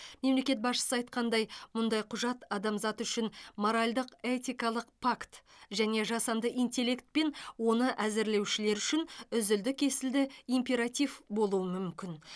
мемлекет басшысы айтқандай мұндай құжат адамзат үшін моральдық этикалық пакт және жасанды интеллект пен оны әзірлеушілер үшін үзілді кесілді императив болуы мүмкін